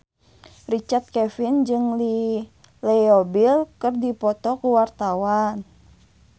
Richard Kevin jeung Leo Bill keur dipoto ku wartawan